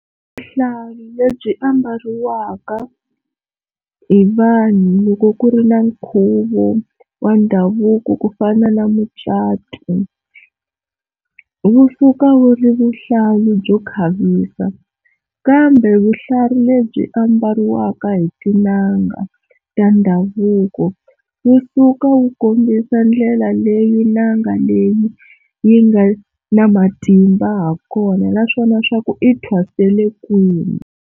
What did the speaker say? Vuhlalu lebyi ambariwaka hi vanhu loko ku ri na nkhuvo wa ndhavuko ku fana na mucato wu suka wu ri vuhlalu byo khavisa, kambe vuhlalu lebyi ambariwaka hi tin'anga ta ndhavuko wu suka wu kombisa ndlela leyi n'anga leyi yi nga na matimba ha kona naswona swa ku i thwasele kwihi.